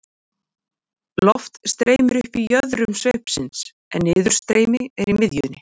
Loft streymir upp í jöðrum sveipsins en niðurstreymi er í miðjunni.